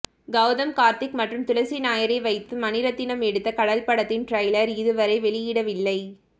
கௌதம் கார்த்திக் மற்றும் துளசி நாயரை வைத்து மணிரத்னம் எடுத்த கடல் படத்தின் டிரெய்லர் இதுவரை வெளியிடவில்லை